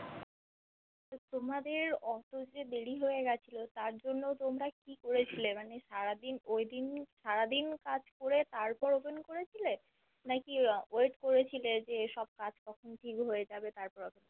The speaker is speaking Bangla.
তোমাদের ওতো যে দেরি হয়ে গেছিলো তার জন্য তোমরা কি করেছিলে মানে সারাদিন Waiting সারাদিন কাজ করে তারপর Open করেছিলে নাকি Wait যে সব কাজ কখন কি হয়ে যাবে তারপর